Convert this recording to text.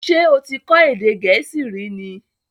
Ṣé o ti kọ́ èdè Gẹ̀ẹ́sì rí ni?